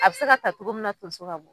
A bɛ se ka ta cogo min na tomso ka bɔ.